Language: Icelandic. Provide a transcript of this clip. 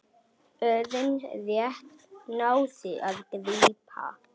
Örn rétt náði að grípa.